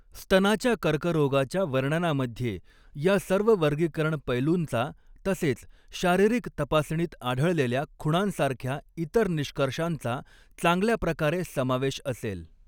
स्तनाच्या कर्करोगाच्या वर्णनामध्ये या सर्व वर्गीकरण पैलूंचा तसेच शारीरिक तपासणीत आढळलेल्या खुणांसारख्या इतर निष्कर्षांचा चांगल्या प्रकारे समावेश असेल.